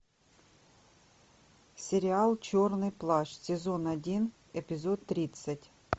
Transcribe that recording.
сериал черный плащ сезон один эпизод тридцать